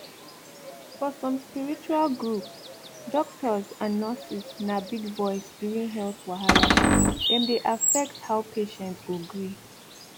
for some spiritual group doctors and scientists na big voice during health wahala dem dey affect how patient go gree